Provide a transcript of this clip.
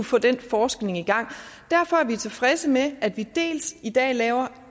få den forskning i gang derfor er vi tilfredse med at vi dels i dag laver